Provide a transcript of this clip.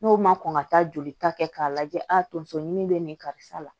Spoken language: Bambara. N'o ma kɔn ka taa jolita kɛ k'a lajɛ a tonso ɲimi bɛ nin karisa la